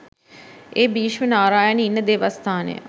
ඒ භීෂ්ම නාරායන ඉන්න දේවස්ථානය